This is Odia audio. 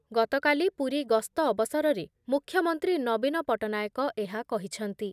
ଗତକାଲି ପୁରୀ ଗସ୍ତ ଅବସରରେ ମୁଖ୍ୟମନ୍ତ୍ରୀ ନବୀନ ପଟ୍ଟନାୟକ ଏହା କହିଛନ୍ତି ।